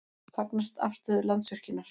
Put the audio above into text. Fagna afstöðu Landsvirkjunar